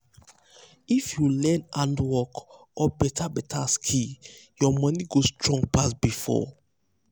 if you learn handwork or beta beta skill your money go strong pass before.